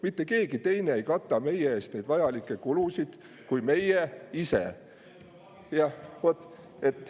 Mitte keegi teine ei kata meie eest neid vajalikke kulusid kui meie ise.